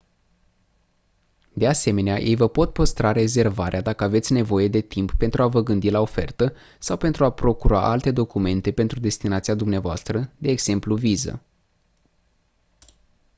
de asemenea ei vă pot păstra rezervarea dacă aveți nevoie de timp pentru a vă gândi la ofertă sau pentru a procura alte documente pentru destinația dvs. de exemplu viză